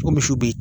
O misiw be yen